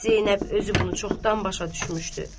Zeynəb özü bunu çoxdan başa düşmüşdü.